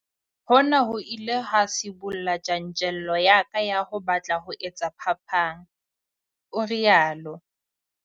"Hona ho ile ha sibolla tjantjello ya ka ya ho batla ho etsa phapang," o rialo.